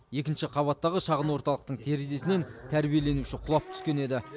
екінші қабаттағы шағын орталықтың терезесінен тәрбиеленуші құлап түскен еді